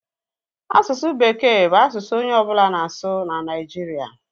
Asụsụ bekee bụ asụsụ onye ọbụla na-asụ na Nigeria